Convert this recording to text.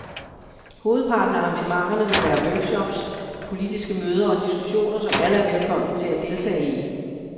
Hovedparten af arrangementerne vil være workshops, politiske møder og diskussioner, som alle er velkomne til at deltage i.